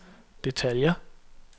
detaljer